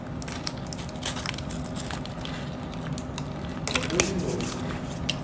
спокойной ночи